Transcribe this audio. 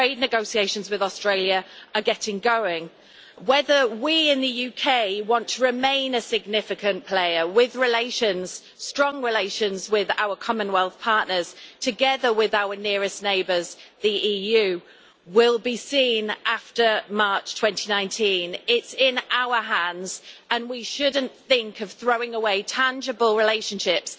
Trade negotiations with Australia are getting going. Whether we in the UK want to remain a significant player with strong relations with our Commonwealth partners together with our nearest neighbours the EU, will be seen after March 2019. It's in our hands and we shouldn't think of throwing away tangible relationships